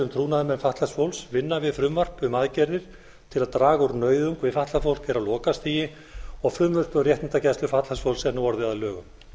um trúnaðarmenn fatlaðs fólks vinna við frumvarp um aðgerðir til að draga úr nauðung við fatlað fólk er á lokastigi og frumvarp um réttindagæslu fatlaðs fólks er nú orðið að lögum